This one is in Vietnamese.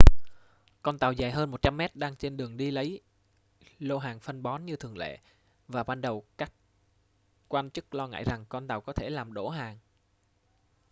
con tàu dài 100 mét đang trên đường đi lấy lô hàng phân bón như thường lệ và ban đầu các quan chức lo ngại rằng con tàu có thể làm đổ hàng